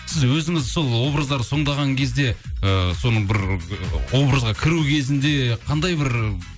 сіз өзіңіз сол образдарды сомдаған кезде ы соның бір образға кіру кезінде қандай бір